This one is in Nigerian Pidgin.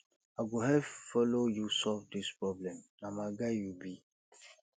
i go help follow you solve this problem na my guy you be